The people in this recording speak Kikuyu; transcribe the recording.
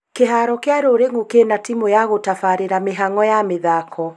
Kĩharo gĩa Rũrĩng'u kĩna timũ ya gũtabarĩra mĩhang'o ya mathako